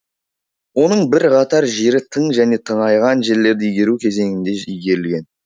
оның бірқатар жері тың және тыңайған жерлерді игеру кезеңінде игерілген